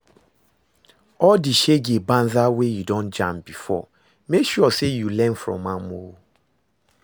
All di shege banza wey yu don jam bifor mek sure sey yu learn from am o